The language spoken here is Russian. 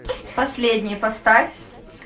последний поставь